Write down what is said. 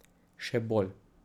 Še bolj.